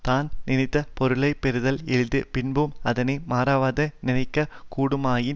தான் நினைந்த பொருளை பெறுதல் எளிது பின்பும் அதனை மறவாதே நினைக்க கூடுமாயின்